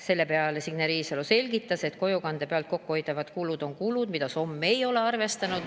Selle peale Signe Riisalo selgitas, et kojukande pealt kokkuhoitavad kulud on kulud, mida SOM ei ole arvestanud.